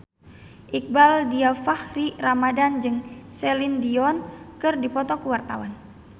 Iqbaal Dhiafakhri Ramadhan jeung Celine Dion keur dipoto ku wartawan